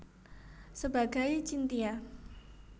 Sebagai Chintya